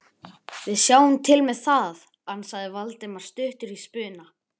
Við sjáum til með það- ansaði Valdimar stuttur í spuna.